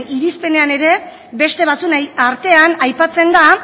irizpenean ere beste batzuen artean aipatzen da